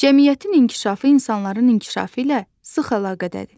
Cəmiyyətin inkişafı insanların inkişafı ilə sıx əlaqədədir.